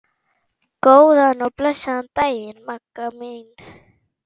Góðan og blessaðan daginn, Maggi minn.